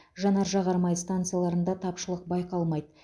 жанар жағар май станцияларында тапшылық байқалмайды